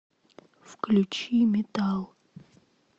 включи метал